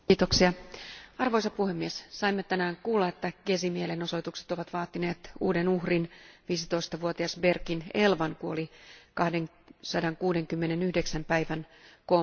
Arvoisa puhemies, saimme tänään kuulla, että Gezin mielenosoitukset ovat vaatineet uuden uhrin, 15 vuotias Berkin Elvan kuoli 269 päivän kooman jälkeen.